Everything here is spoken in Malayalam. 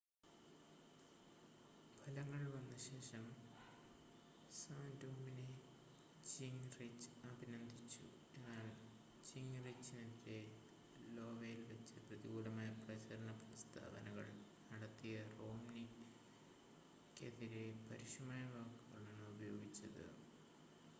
ഫലങ്ങൾ വന്നശേഷം സാൻ്റോറമിനെ ജിംങ്റിച് അഭിനന്ദിച്ചു എന്നാൽ ജിംങ്റിചിനെതിരെ ലോവയിൽ വെച്ച് പ്രതികൂലമായ പ്രചരണ പ്രസ്താവനകൾ നടത്തിയ റോംനിക്കെതിരെ പരുഷമായ വാക്കുകളാണ് ഉപയോഗിച്ചത്